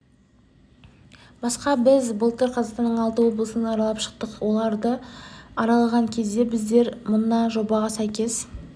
басқа біз былтыр қазақстанның алты облысын аралап шықтық соларды аралаған кезде біздер мына жобаға сәйкес